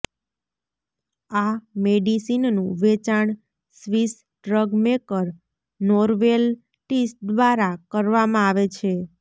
આ મેડિસિનનું વેચાણ સ્વિસ ડ્રગ મેકર નોર્વેલટીસ દ્વારા કરવામાં આવે છે